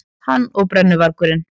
Hann og brennuvargurinn.